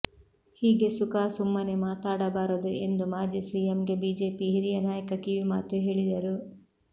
ಹೀಗೆ ಸುಖಾ ಸುಮ್ಮನೇ ಮಾತಾಡಬಾರದು ಎಂದು ಮಾಜಿ ಸಿಎಂಗೆ ಬಿಜೆಪಿ ಹಿರಿಯ ನಾಯಕ ಕಿವಿಮಾತು ಹೇಳಿದರು